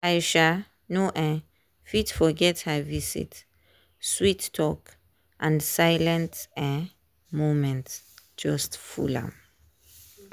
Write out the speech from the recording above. i um no um fit forget her visit sweet talk and silent um moments just full am